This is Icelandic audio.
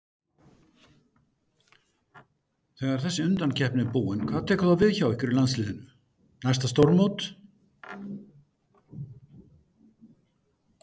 Þegar þessi undankeppni er búin hvað tekur þá við hjá ykkur í landsliðinu, næsta stórmót?